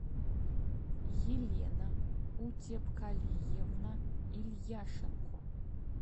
елена утепкалиевна ильяшенко